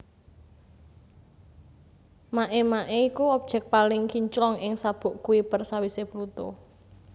Makemake iku objèk paling kinclong ing sabuk Kuiper sawisé Pluto